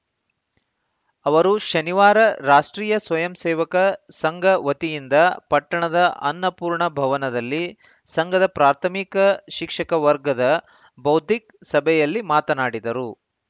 ಅವರು ಶನಿವಾರ ರಾಷ್ಟ್ರೀಯ ಸ್ವಯಂ ಸೇವಕ ಸಂಘ ವತಿಯಿಂದ ಪಟ್ಟಣದ ಅನ್ನಪೂರ್ಣ ಭವನದಲ್ಲಿ ಸಂಘದ ಪ್ರಾಥಮಿಕ ಶಿಕ್ಷಕ ವರ್ಗದ ಬೌದ್ಧಿಕ್‌ ಸಭೆಯಲ್ಲಿ ಮಾತನಾಡಿದರು